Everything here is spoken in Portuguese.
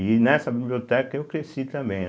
E nessa biblioteca eu cresci também.